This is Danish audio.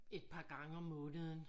Et par gange om måneden